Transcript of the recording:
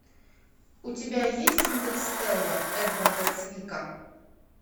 у тебя есть интерстеллар эдварда цвика